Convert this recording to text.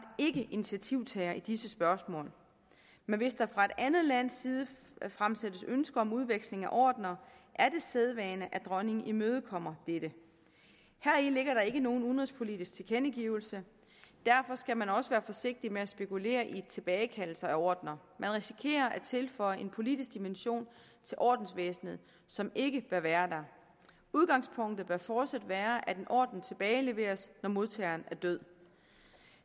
ikke initiativtager i disse spørgsmål men hvis der fra et andet lands side fremsættes ønsker om udveksling af ordener er det sædvane at dronningen imødekommer dette heri ligger der ikke nogen udenrigspolitisk tilkendegivelse derfor skal man også være forsigtig med at spekulere i tilbagekaldelse af ordener man risikerer at tilføje en politisk dimension til ordensvæsenet som ikke bør være der udgangspunktet bør fortsat være at en orden tilbageleveres når modtageren er død